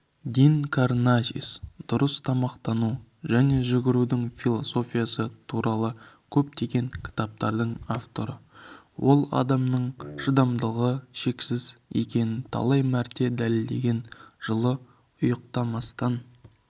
дин карнасис дұрыс тамақтану және жүгірудің философиясы туралы көптеген кітаптардың авторы ол адамның шыдамдылығы шексіз екенін талай мәрте дәлелдеген жылы ұйықтамастан